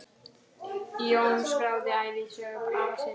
Jón skráði ævisögu afa síns.